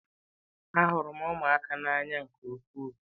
Ahụrụ m ụmụaka n'anya nke ukwuu.